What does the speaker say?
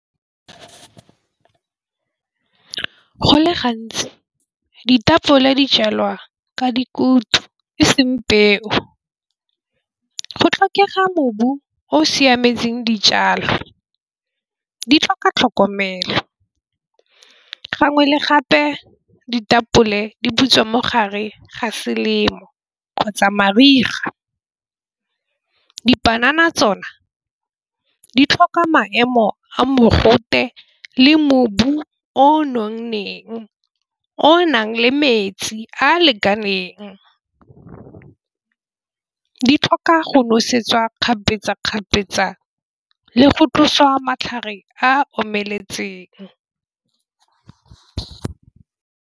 Go le gantsi ditapole dijalwa ka dikhoutu e seng peo go tlhokega mobu o siametseng dijalo di tlhoka tlhokomelo. Gangwe le gape ditapole di butswa mo gare ga selemo kgotsa mariga. Dipanana tsona di tlhoka maemo a mogote le mobu o nonneng o nang le metsi a a lekaneng go di tlhoka go nosetsa kgapetsa-kgapetsa le go tlosiwa matlhare a omeletseng.